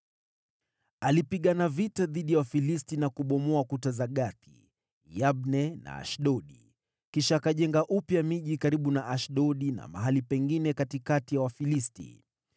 Alipigana vita dhidi ya Wafilisti na kubomoa kuta za Gathi, Yabne na Ashdodi. Kisha akajenga upya miji karibu na Ashdodi na mahali pengine katikati ya Wafilisti.